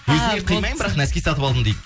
өзіме қимаймын бірақ нәски сатып алдым дейді